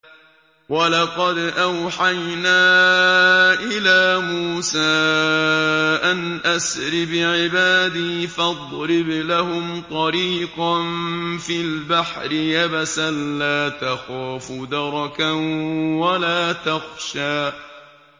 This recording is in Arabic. وَلَقَدْ أَوْحَيْنَا إِلَىٰ مُوسَىٰ أَنْ أَسْرِ بِعِبَادِي فَاضْرِبْ لَهُمْ طَرِيقًا فِي الْبَحْرِ يَبَسًا لَّا تَخَافُ دَرَكًا وَلَا تَخْشَىٰ